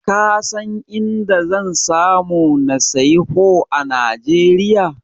Ka san a inda zan samu na siyi Pho a Najeriya?